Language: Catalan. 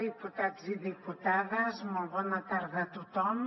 diputats i diputades molt bona tarda a tothom